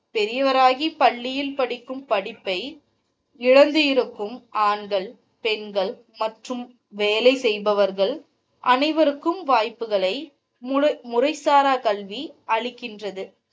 பெரியவராகி பள்ளியில் படிக்கும் படிப்பை இழந்து இருக்கும் ஆண்கள் பெண்கள் மற்றும் வேலை செய்பவர்கள் அனைவர்க்கும் வாய்ப்புகள் முறைசாரா கல்வி அளிக்கிறது.